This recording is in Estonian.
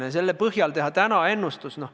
Teha selle põhjal täna ennustusi?